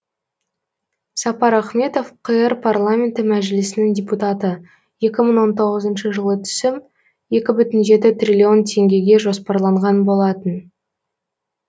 сапар ахметов қр парламенті мәжілісінің депутаты екі мың он тоғызыншы жылы түсім екі бүтін жеті триллион теңгеге жоспарланған болатын